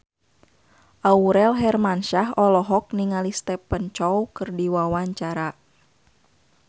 Aurel Hermansyah olohok ningali Stephen Chow keur diwawancara